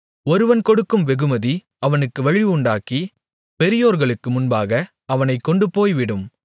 ஒருவன் கொடுக்கும் வெகுமதி அவனுக்கு வழி உண்டாக்கி பெரியோர்களுக்கு முன்பாக அவனைக் கொண்டுபோய்விடும்